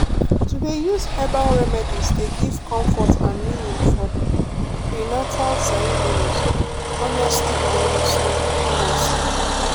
to dey use herbal remedies dey give comfort and meaning for prenatal ceremonies honestly honestly honestly.